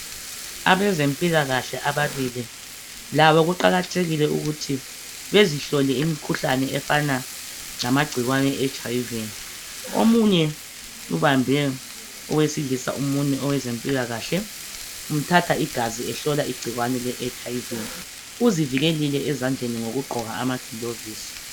Abezempilakahle ababili, labo kuqakathekile ukuthi bezihlole imikhuhlane efana lamgcikwane eHIV. Omunye ubambe owesilisa umunwe owezempilakahle, umthatha igazi ehlola igcikwane leHIV. Uzivikelile ezandleni ngokugqoka amagilovisi